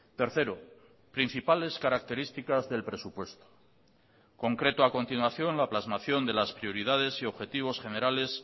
tercero principales características del presupuesto concreto a continuación la plasmación de las prioridades y objetivos generales